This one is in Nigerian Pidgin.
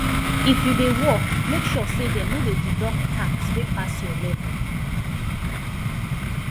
if you dey work make sure say dem no deduct tax wey pass your level